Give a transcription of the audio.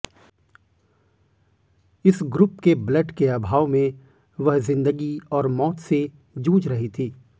इस ग्रुप के ब्लड के अभाव में वह जिंदगी और मौत से जूझ रही थी